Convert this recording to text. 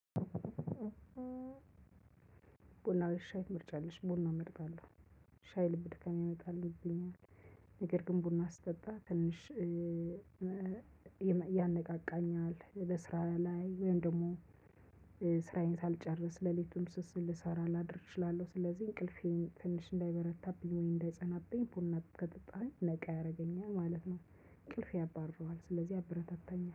ቡና ወይስ ሻይ ትመርጫለሽ? ቡና መርጣለሁ። ሻይ ልብ ድካም ያመጣል። ነገር ግን ቡና ስጠጣ ትንሽ ያነቃቃኛል። ለስራ ላይ ወይም ደግሞ ስራዬን ሳልጨርስ ሌሊቱን ልሰራ ላድር እችላለሁ። ስለዚህ እንቅልፌን ትንሽ እንዳይበረታብኝ ወይ እንዳይጸናብኝ ቡና ከጠጣሁኝ ነቃ ያደርገኛል ማለት ነው። እንቅልፍ ያባርረዋል ስለዚህ ያበረታታኛል